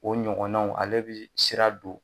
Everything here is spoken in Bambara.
O ɲɔgɔnnaw ale bɛ sira don